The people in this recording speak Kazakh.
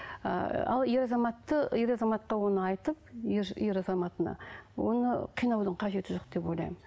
ыыы ал ер азаматты ер азаматқа оны айтып ер ер азаматына оны қинаудың қажеті жоқ деп ойлаймын